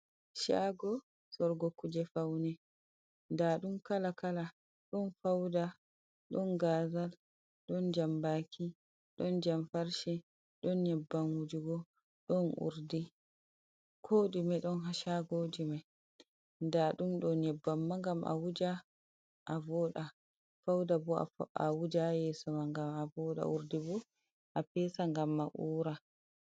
Shago sorgo kuje faune, nda ɗum kala kala ɗon fauda, ɗon gazal, ɗon jambaki, ɗon jamfarshe, ɗon nyebbam wujugo, ɗon urdi, ko ɗume don. Shagojum mai nda ɗum ɗon nyebbam ma ngam a wuja a voda, fauda bo a wuja yeso ma ngam a voda, urdi bo a pesa ngam a uura.